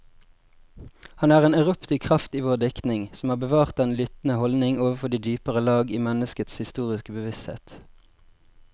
Han er en eruptiv kraft i vår diktning, som har bevart den lyttende holdning overfor de dypere lag i menneskets historiske bevissthet.